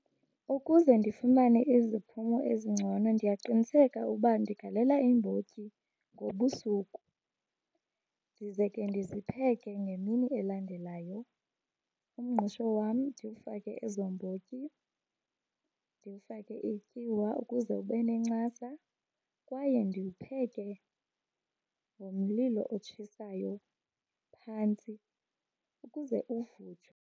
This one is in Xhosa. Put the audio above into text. Ukuze ndifumane iziphumo ezingcono ndiyaqiniseka uba ndigalela iimbotyi ngobusuku ndize ke ndizipheke ngemini elandelayo. Umngqusho wam ndiwufake ezo mbotyi, ndiwufake ityiwa ukuze ube nencasa kwaye ndiwupheke ngomlilo otshisayo phantsi ukuze uvuthwe.